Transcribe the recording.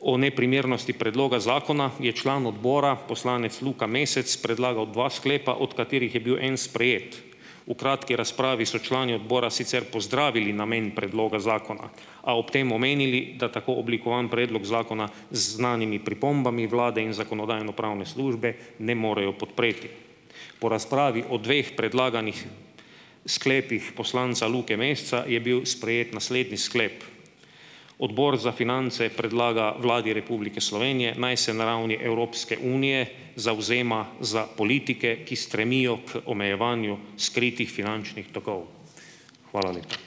o neprimernosti predloga zakona je član odbora, poslanec Luka Mesec predlagal dva sklepa, od katerih je bil en sprejet. V kratki razpravi so člani odbora sicer pozdravili namen predloga zakona, a ob tem omenili, da tako oblikovan predlog zakona z znanimi pripombami vlade in Zakonodajno-pravne službe ne morejo podpreti. Po razpravi o dveh predlaganih sklepih poslanca Luke Meseca je bil sprejet naslednji sklep: Odbor za finance predlaga Vladi Republike Slovenije naj se na ravni Evropske unije zavzema za politike, ki stremijo k omejevanju skritih finančnih tokov. Hvala lepa.